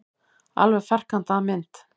Alveg ferkantaða mynd.